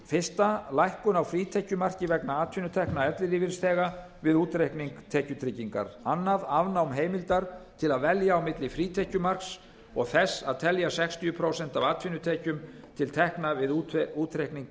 fyrsta lækkun á frítekjumarki vegna atvinnutekna ellilífeyrisþega við útreikning tekjutryggingar annars afnám heimildar til að velja á milli frítekjumarks og þess að telja sextíu prósent af atvinnutekjum til tekna við útreikning